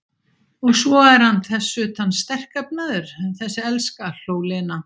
Og svo er hann þess utan sterkefnaður, þessi elska, hló Lena.